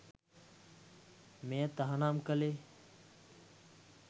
මෙය තහනම් කලේ